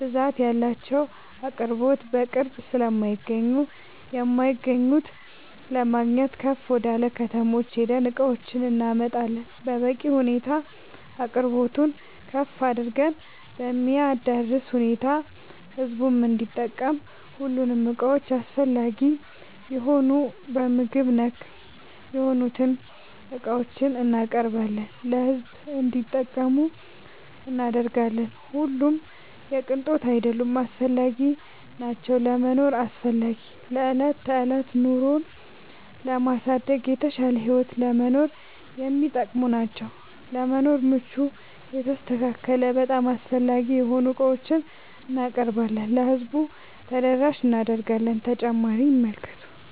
ብዛት ያላቸው አቅርቦት በቅርብ ስለማይገኙ የማይገኙት ለማግኘት ከፍ ወደላ ከተሞች ሄደን እቃዎችን እናመጣለን በበቂ ሁኔታ አቅርቦቱን ከፍ አድርገን በሚያዳርስ ሁኔታ ህዝቡም እንዲጠቀም ሁሉንም እቃዎች አስፈላጊ የሆኑ በምግብ ነክ የሆኑትን እቃዎችን እናቀርባለን ለሕዝብ እንዲጠቀሙ እናደርጋለን። ሁሉም የቅንጦት አይደሉም አስፈላጊናቸው ለመኖር አስፈላጊ ለዕለት ተዕለት ኑሮን ለማሳደግ የተሻለ ህይወት ለመኖር የሚጠቅሙ ናቸው። ለመኖር ምቹ የተስተካከለ በጣም አስፈላጊ የሆኑ ዕቃዎችን እናቀርባለን ለህዝቡ ተደራሽ እናደርጋለን።…ተጨማሪ ይመልከቱ